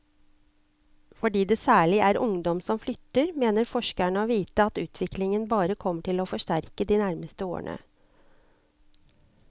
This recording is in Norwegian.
Fordi det særlig er ungdom som flytter, mener forskerne å vite at utviklingen bare kommer til å forsterkes de nærmeste årene.